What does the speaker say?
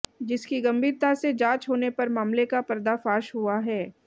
जिसकी गंभीरता से जांच होने पर मामले का पर्दाफाश हुआ है